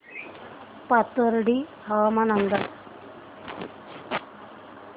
पाथर्डी हवामान अंदाज